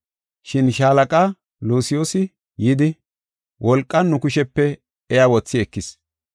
Shin shaalaqa Lusiyoosi yidi, wolqan nu kushepe iya wothi ekis.